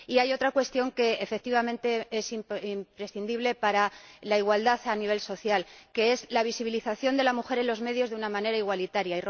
Y hay otra cuestión que, efectivamente, es imprescindible para la igualdad a nivel social la visibilización de la mujer en los medios de una manera igualitaria.